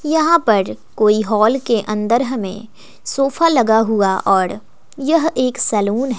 यहां पर कोई हॉल के अंदर हमें सोफा लगा हुआ और यह एक सैलून --